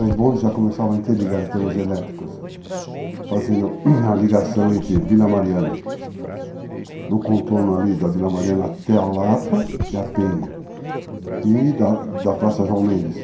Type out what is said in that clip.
Os bondes já começavam a interligar em termos elétricos, fazendo a ligação entre Vila Mariana, no contorno ali da Vila Mariana, até a Lapa e a Penha, e da Praça João Mendes.